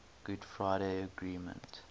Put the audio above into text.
good friday agreement